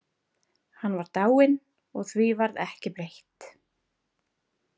Hann var dáinn og því varð ekki breytt.